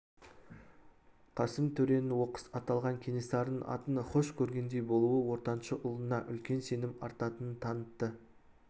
қасым төренің оқыс аталған кенесарының атын хош көргендей болуы ортаншы ұлына үлкен сенім артатынын танытты